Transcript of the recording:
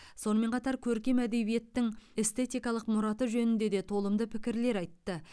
сонымен қатар көркем әдебиеттің эстетикалық мұраты жөнінде де толымды пікірлер айтты